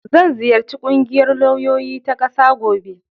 Zan ziyarci ƙungiyar lauyoyi ta ƙasa gobe.